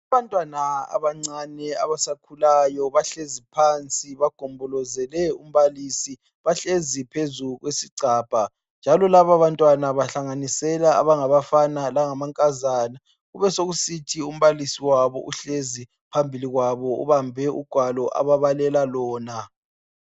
Abantwana abancane abasakhulayo bahlezi phansi bagombolozele umbalisi .Bahlezi phezu kwesigcabha njalo labo bantwana bahlanganisela abangabafana langamankazana. Kubesekusithi umbalisi wabo uhlezi phambili kwabo ubambe ugwalo ababalela lona.